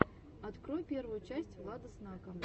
открой первую часть влада снака